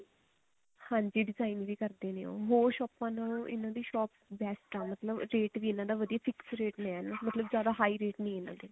ਹਾਂਜੀ design ਵੀ ਕਰਦੇ ਨੇ ਉਹ ਹੋਰ ਸ਼ੋਪਾਂ ਨਾਲੇ ਉਹਨਾ ਦੀ shop best ਹੈ ਮਤਲਬ ਰੇਟ ਵੀ ਇਹਨਾ ਦਾ ਵਧੀਆ fix ਰੇਟ ਨੇ ਮਤਲਬ ਜਿਆਦਾ high ਰੇਟ ਨੀ ਇਹਨਾ ਦੇ